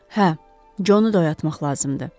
Hə, Conu oyatmaq lazımdı.